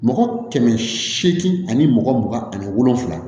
Mɔgɔ kɛmɛ seegin ani mɔgɔ mugan ani wolonwula